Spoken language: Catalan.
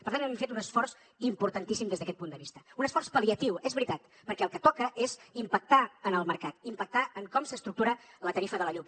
per tant hem fet un esforç importantíssim des d’aquest punt de vista un esforç pal·liatiu és veritat perquè el que toca és impactar en el mercat impactar en com s’estructura la tarifa de la llum